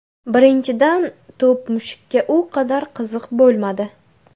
Birinchidan, to‘p mushukka u qadar qiziq bo‘lmadi.